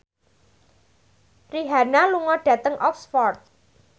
Rihanna lunga dhateng Oxford